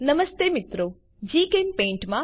નમસ્તે મિત્રો જીચેમ્પેઇન્ટ